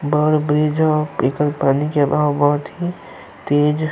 बहुत ब्रिज है। एकर पानी के बहाव बहुत ही तेज --